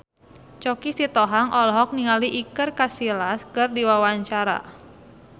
Choky Sitohang olohok ningali Iker Casillas keur diwawancara